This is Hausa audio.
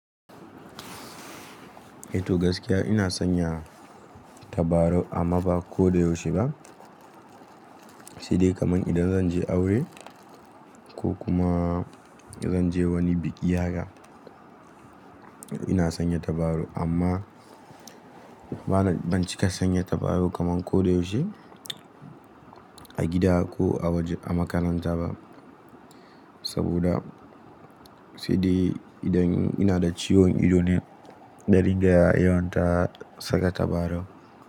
Eh to gaskiya ina sanya tabarau amma ba ko da yaushe ba. Sai de kaman idan zanje aure ko kuma zanje wani biki haka ina sanya tabarau amma bana ban cika sanya tabarau kaman ko da yaushe a gida ko a waje a makaranta ba. Saboda sai dai idan ina da ciwon ido ne na ringa yawanta saka tabarau.